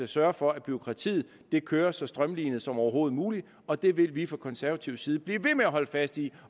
sørge for at bureaukratiet kører så strømlinet som overhovedet muligt og det vil vi fra konservativ side blive ved med at holde fast i